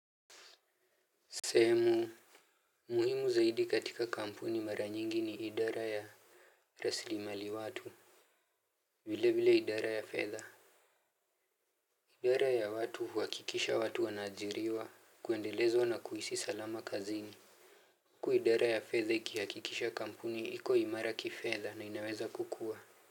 Sehemu muhimu zaidi katika kampuni mara nyingi ni idara ya rasili mali watu vile vile idara ya fedha idara ya watu huhakikisha watu wanaajiriwa kuendelezwa na kuhisi salama kazini huku idara ya fedha ikihakikisha kampuni iko imara kifedha na inaweza kukua.